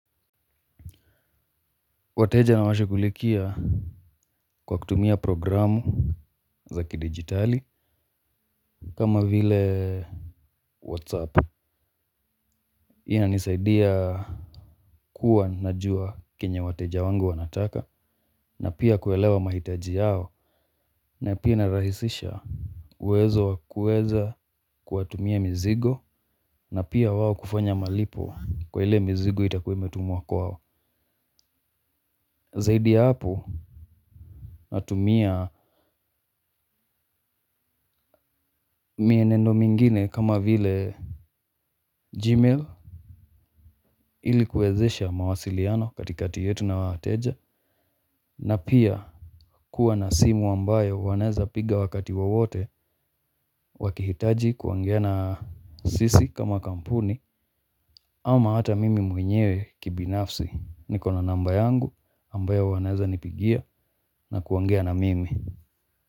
Wateja nawashughulikia kwa kutumia programu za kidigitali kama vile whatsapp. Hii inanisaidia kuwa najua kenya wateja wangu wanataka na pia kuelewa mahitaji yao na pia narahisisha uwezo wa kuweza kuwatumia mizigo na pia wao kufanya malipo kwa ile mzigo itakuwa imetumwa kwao. Zaidi ya hapo natumia mienendo mingine kama vile gmail ili kuwezesha mawasiliano katikati yetu na wateja. Na pia kuwa na simu ambayo wanaeza piga wakati wowote wakihitaji kuongea na sisi kama kampuni. Ama hata mimi mwenyewe kibinafsi niko na namba yangu ambayo wanezanipigia na kuongea na mimi.